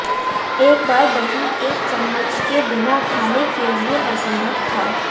एक बार दही एक चम्मच के बिना खाने के लिए असंभव था